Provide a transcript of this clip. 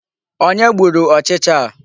Onye gburu ọchịcha a?